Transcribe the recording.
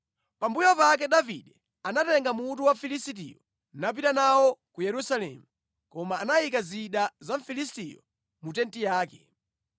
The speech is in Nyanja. Pambuyo pake Davide anatenga mutu wa Mfilisitiyo napita nawo ku Yerusalemu, koma anayika zida za Mfilisitiyo mu tenti yake.